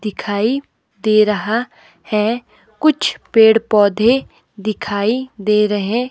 दिखाई दे रहा है कुछ पेड़-पौधे दिखाई दे रहे--